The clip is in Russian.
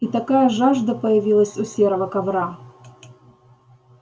и такая жажда появилась у серого ковра